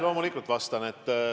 Loomulikult vastan.